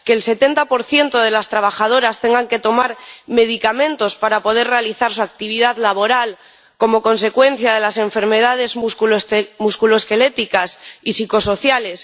que el 70 de las trabajadoras tenga que tomar medicamentos para poder realizar su actividad laboral como consecuencia de las enfermedades músculoesqueléticas y psicosociales